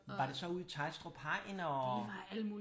Var det så ude i Teglstrup Hegn og?